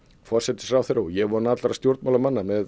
forsætisráðherra og ég vona allra stjórnmálamanna